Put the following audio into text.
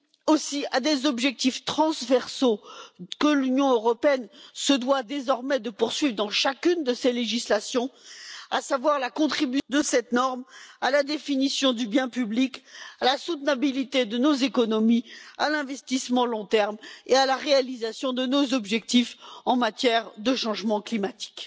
aussi à des objectifs transversaux que l'Union européenne se doit désormais de poursuivre dans chacune de ses législations, c'est à dire que cette norme contribue à la définition du bien public, à la soutenabilité de nos économies, à l'investissement à long terme et à la réalisation de nos objectifs en matière de changement climatique.